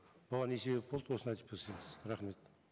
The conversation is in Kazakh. оған не себеп болды осыны айтып берсеңіз рахмет